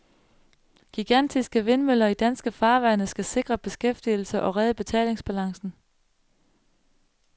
Gigantiske vindmøller i danske farvande skal sikre beskæftigelse og redde betalingsbalancen.